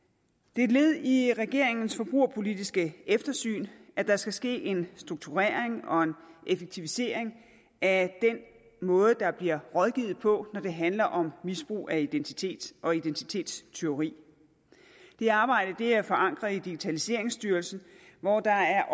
det er et led i regeringens forbrugerpolitiske eftersyn at der skal ske en strukturering og en effektivisering af den måde der bliver rådgivet på når det handler om misbrug af identitet og om identitetstyveri det arbejde er forankret i digitaliseringsstyrelsen hvor der er